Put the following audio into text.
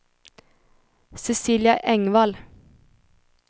Cecilia Engvall